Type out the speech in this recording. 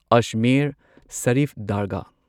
Ajmer Sharif Dargah